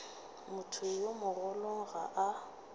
motho yo mogolo ga a